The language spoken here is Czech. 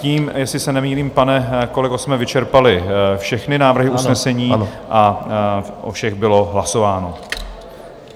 Tím, jestli se nemýlím, pane kolego, jsme vyčerpali všechny návrhy usnesení a o všech bylo hlasováno.